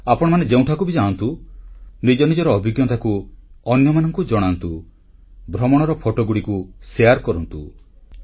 ଆପଣମାନେ ଯେଉଁଠାକୁ ବି ଯାଆନ୍ତୁ ନିଜ ନିଜର ଅଭିଜ୍ଞତାକୁ ଅନ୍ୟମାନଙ୍କୁ ଜଣାନ୍ତୁ ଭ୍ରମଣର ଫଟୋଗୁଡ଼ିକୁ ବାଂଟନ୍ତୁ